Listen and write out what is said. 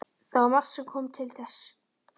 Það var margt sem kom til þess.